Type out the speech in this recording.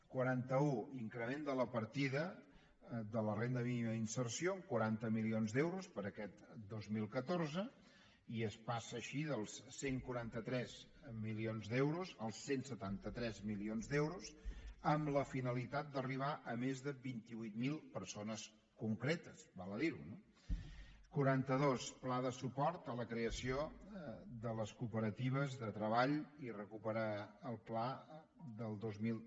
quaranta una increment de la partida de la renda mínima d’inserció amb quaranta milions d’euros per a aquest dos mil catorze i es passa així dels cent i quaranta tres milions d’euros als cent i setanta tres milions d’euros amb la finalitat d’arribar a més de vint vuit mil persones concretes val a dir ho no quaranta dues pla de suport a la creació de les cooperatives de treball i recuperar el pla del dos mil